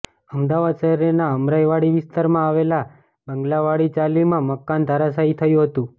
અમદાવાદ શહેરના અમરાઈવાડી વિસ્તારમાં આવેલા બંગલાવાળી ચાલીમાં મકાન ધરાશાયી થયું હતું